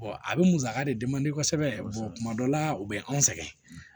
a bɛ musaka de kosɛbɛ tuma dɔ la u bɛ anw sɛgɛn